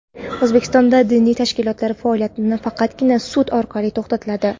O‘zbekistonda diniy tashkilotlar faoliyati faqatgina sud orqali to‘xtatiladi.